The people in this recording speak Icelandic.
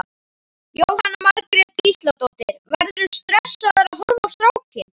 Jóhanna Margrét Gísladóttir: Verðurðu stressaður að horfa á strákinn?